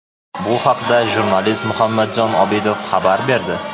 Bu haqda jurnalist Muhammadjon Obidov xabar berdi.